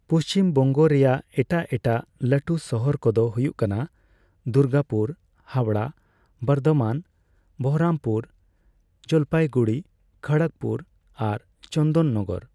ᱯᱩᱪᱷᱤᱢᱵᱚᱝᱜᱚ ᱨᱮᱭᱟᱜ ᱮᱴᱟᱜ ᱮᱴᱟᱜ ᱞᱟᱴᱩ ᱥᱟᱦᱟᱨ ᱠᱚᱫᱚ ᱦᱩᱭᱩᱜ ᱠᱟᱱᱟ ᱼ ᱫᱩᱨᱜᱟᱯᱩᱨ, ᱦᱟᱣᱲᱟ, ᱵᱚᱨᱫᱷᱚᱢᱟᱱ, ᱵᱚᱦᱚᱨᱚᱢᱯᱩᱨ, ᱡᱚᱞᱯᱟᱭᱜᱩᱲᱤ, ᱠᱷᱚᱲᱚᱜᱯᱩᱨ ᱟᱨ ᱪᱚᱱᱫᱚᱱᱱᱚᱜᱚᱨ ᱾